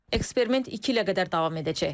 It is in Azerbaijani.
Eksperiment iki ilə qədər davam edəcək.